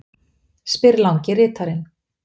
spyr langi ritarinn.